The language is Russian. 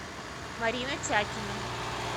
марина тякина